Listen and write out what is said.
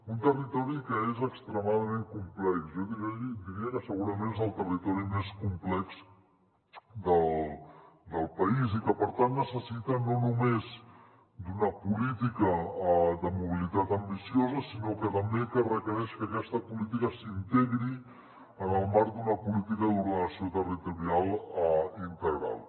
un territori que és extremadament complex jo diria que segurament és el territori més complex del país i que per tant necessita no només una política de mobilitat ambiciosa sinó que també requereix que aquesta política s’integri en el marc d’una política d’ordenació territorial integral